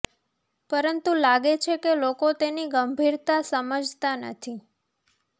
પરંતુ લાગે છે કે લોકો તેની ગંભીરતા સમજતા નથી